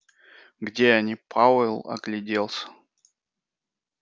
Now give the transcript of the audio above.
где они пауэлл огляделся